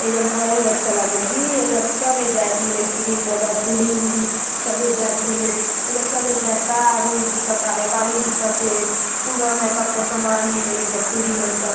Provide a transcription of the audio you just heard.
एजग बड़ अऊ अच्छा लागल जी सब एजाज क्रीम पाउडर चूड़ी उडी सबे जाइट मिले ए जग सबे जाइत कार उर दिखाते हे गाड़ी दिखत हे पूरा मेकप के समान मिले ला